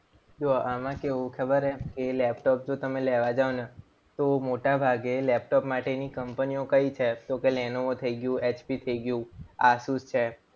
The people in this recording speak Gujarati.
જો આમાં કેવું ખબર છે કે લેપટોપ તમે લેવા જાવ ને તો મોટાભાગે લેપટોપ માટે કંપનીઓ કઈ છે? તો કે લેનોવો થઈ ગયું, એચપી થઈ ગયું, આસુસ છે.